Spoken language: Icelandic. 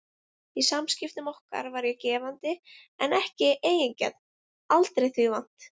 Í samskiptum okkar var ég gefandi en ekki eigingjarn, aldrei því vant.